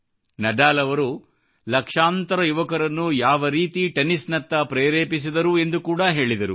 Nadal ಅವರು ಲಕ್ಷಾಂತರ ಯುವಕರನ್ನು ಯಾವ ರೀತಿ ಟೆನ್ನಿಸ್ ನತ್ತ ಪ್ರೇರೇಪಿಸಿದರು ಎಂದು ಕೂಡಾ ಹೇಳಿದರು